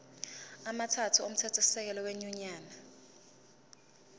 amathathu omthethosisekelo wenyunyane